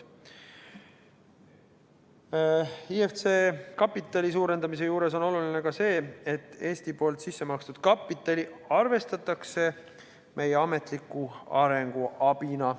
IFC kapitali suurendamise puhul on oluline ka see, et Eesti sissemakstud kapitali arvestatakse meie ametliku arenguabina.